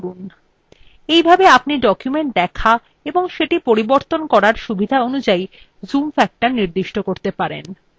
এইভাবে আপনি documents দেখা ও সেটি পরিবর্তন করার সুবিধা অনুযায় zoom factor নির্দিষ্ট করতে পারেন